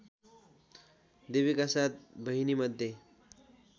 देवीका सात बहिनीमध्ये